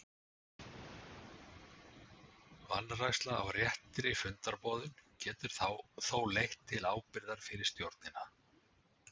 Vanræksla á réttri fundarboðun getur þó leitt til ábyrgðar fyrir stjórnina.